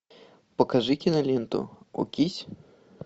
покажи киноленту окись